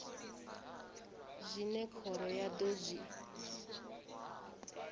zwine khoro ya do zwi